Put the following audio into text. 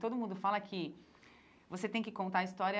Todo mundo fala que você tem que contar a história